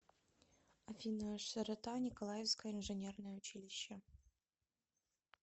афина широта николаевское инженерное училище